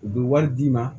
U bɛ wari d'i ma